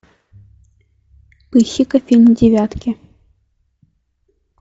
ищи ка фильм девятки